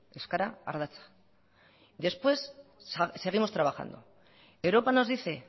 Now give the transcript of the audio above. euskera ardatza y después seguimos trabajando europa nos dice